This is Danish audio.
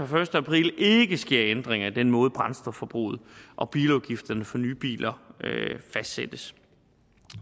første april ikke sker ændringer i den måde brændstofforbruget og bilafgifterne for nye biler fastsættes